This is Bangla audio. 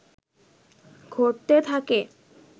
ঘটতে থাকে